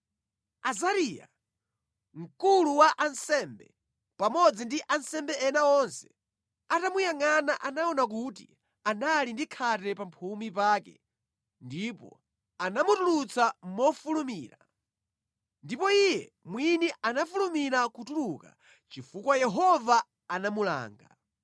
Azariya, mkulu wa ansembe pamodzi ndi ansembe ena onse atamuyangʼana anaona kuti anali ndi khate pamphumi pake, ndipo anamutulutsa mofulumira. Ndipo iye mwini anafulumira kutuluka, chifukwa Yehova anamulanga.